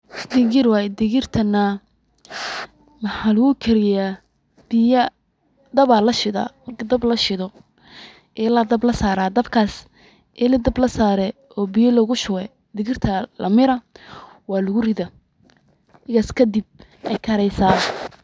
Dikir way dikirtan mxaa lagu kariyah, biya dahab Aya la sheedah marki dhab la sheedoh elaha Aya dhab lasarah dhabkas ela dhab lasarah oo beya lagu shubaya dikirtan Aya lamirah walagu rithah egas kadib Aya Kari.